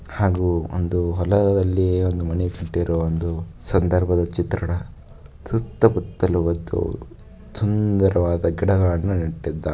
ಹಾಗೂ ಒಂದು ಒಳದಲ್ಲಿ ಒಂದು ಮಣಿ ಇಟ್ಟಿರುವ ಒಂದು ಸುಂದರವಾದ ಚಿತ್ರಣ ಸುತ್ತ ಮುಟ್ಟಲು ಒಂದು ಸುಂದರವಾದ ಗಿಡಗಳನ್ನು ನೆತ್ತಿದರೆ.